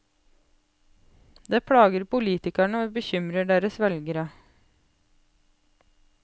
Det plager politikerne og bekymrer deres velgere.